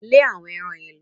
Lẹ́ àwọn eran yẹn lọ!